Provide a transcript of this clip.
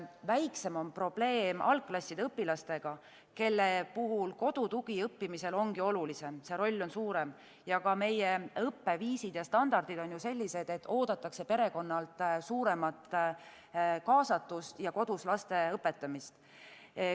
Väiksem on probleem algklasside õpilastega, kelle puhul kodu tugi õppimisel ongi olulisem, see roll on suurem ja ka meie õppeviisid ning standardid on sellised, kus oodatakse perekonnalt suuremat kaasatust ja kodus laste õpetamist.